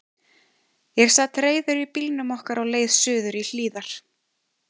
Ég sat reiður í bílnum okkar á leið suður í Hlíðar.